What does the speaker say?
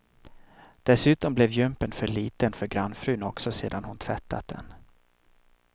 Dessutom blev jumpern för liten för grannfrun också sedan hon tvättat den.